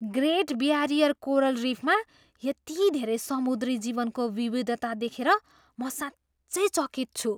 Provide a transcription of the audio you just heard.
Great Barrier coral रिफमा यति धेरै समुद्री जीवनको विविधता देखेर म साँच्चै चकित छु।